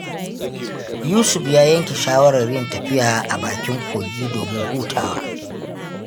Yusuf ya yanke shawarar yin tafiya a bakin kogi domin hutawa.